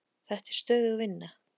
Þetta er stöðug vinna.